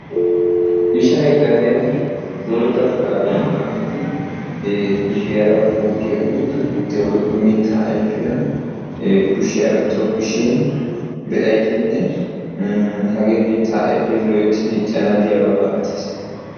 ishshay gadiyan bootta shurabiya maayyidi le'ee kushiyaara bootta putiya woykko mittaa ayfiyaa kushiyaara tokkishin be''aysinne hagee mittaa ayfe loytti diccana diyaaba malatees.